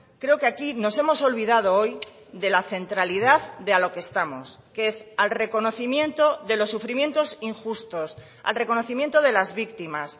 creo que aquí nos hemos olvidado hoy de la centralidad de a lo que estamos que es al reconocimiento de los sufrimientos injustos al reconocimiento de las víctimas